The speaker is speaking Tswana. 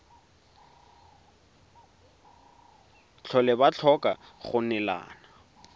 tlhole ba tlhoka go neelana